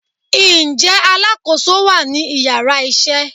nje alákoso wa ni iyara isé?